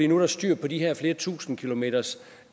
nu er styr på de her flere tusinde kilometers